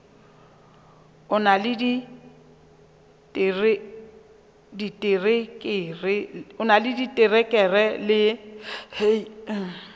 o na le diterekere le